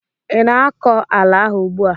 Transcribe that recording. ị na-akọ ala ahụ ugbu a?